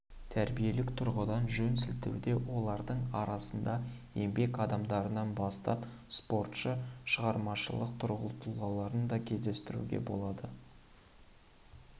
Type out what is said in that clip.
тәрбиелік тұрғыдан жөн сілтеуде олардың арасында еңбек адамдарынан бастап спортшы шығармашылық тұлғаларын да кездестіруге болады